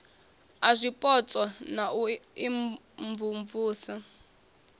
a zwipotso na u imvumvusa